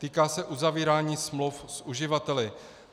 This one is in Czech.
Týká se uzavírání smluv s uživateli.